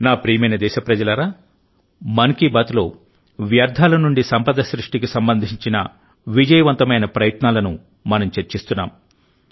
నా ప్రియమైన దేశప్రజలారా మన్ కీ బాత్లో వ్యర్థాల నుండి సంపద సృష్టికి సంబంధించిన విజయవంతమైన ప్రయత్నాలను మనం చర్చిస్తున్నాం